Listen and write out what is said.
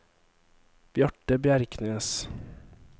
Bjarte Bjerknes